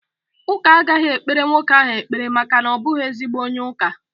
Ụka agaghị ekpere nwoke ahụ ekpere maka na ọ bụghị ezigbo onye ụka